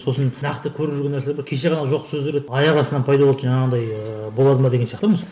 сосын нақты көріп жүрген нәрселер бар кеше ғана жоқ сөздер еді аяқ астынан пайда болды жаңағындай ыыы болады ма деген сияқты